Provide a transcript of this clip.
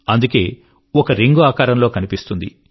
అందుకే ఒక రింగ్ ఆకారంలో కనిపిస్తుంది